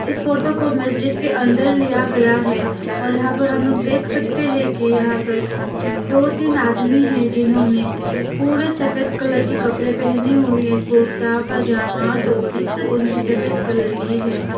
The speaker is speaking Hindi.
इस फोटो को मस्जिद के अंदर लिया गया हैं और यहां पर हम लोग देख सकते है कि यहां पर दो तीन आदमी हैं जिन्होंने पूरे सफेद कलर के कपड़े पेहने हुए है कुर्ता पजामा टोपी सब उनके सफेद कलर की है।